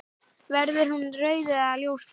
Verður hún rauð eða ljósblá?